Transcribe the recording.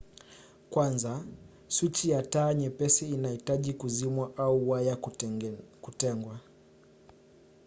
kwanza swichi ya taa nyepesi inahitaji kuzimwa au waya kutengwa